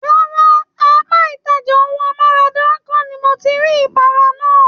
Rárá, apá ìtàjà ohùn amárádán kọ ní mò tí rí ipara náà.